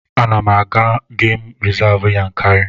Ana m aga Gem Rizavụ Yankari.